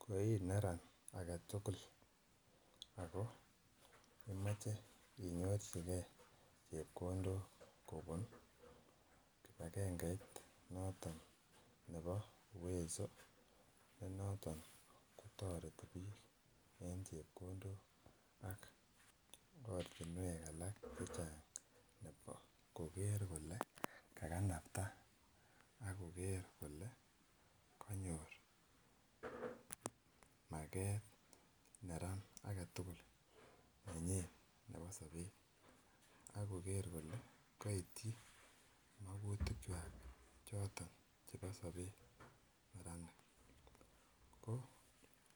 Ko ineran agetutuk Ako imoche inyorchigee chepkondok kobun kipagenge noto nebo uwezo ne noton kotoreti en chepkondok ak ortinwek alak chechang koker kole kakanapta ak koker kole kokinyor market neran agetukul nenyin nebo sobet ak koger kole koityi mokutik kwak choton chebo sobet neranik ko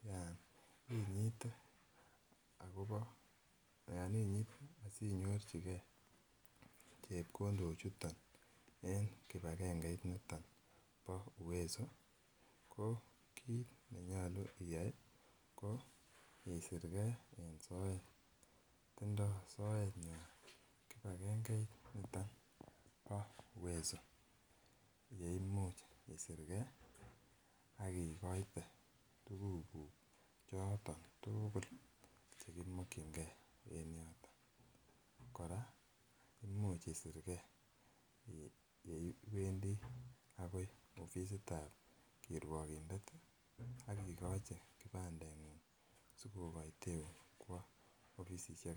yan inyite akobo yon inyite asinyorchigee chepkondok chuton en kipagenge inoton bo uwezo ko kit nenyolu iyai ko isiregee en soet, tindo soet nywan kipagengeit niton bo uwezo yeimuch isiregee ak ikoite tukuk kuk choton tukul chekimokigee en yoton. Koraa imuch isirgee yeiwendii akoi offisitab kiruokinde ak ikochi kipandengung sikokoiteun kwao offisiekab.